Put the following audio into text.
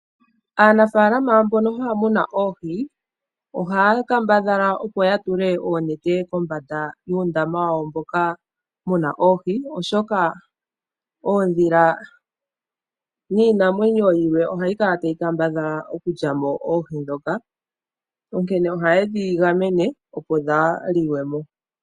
Aanafaalama mbono haya munu oohi, ohaya kambadhala opo ya tule oonete kombanda yuundamo wa wo, mboka muna oohi oshoka oodhila niinamwenyo yilwe ohayi kala tayi kambadhala okulya mo oohi dhoka onkene ohaye dhi gamene opo dhaaliwe mo.